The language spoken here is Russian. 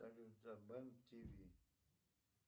салют забан тиви